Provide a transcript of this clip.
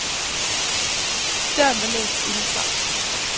Døren var låst inde fra.